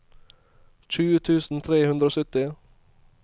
tjue tusen tre hundre og sytti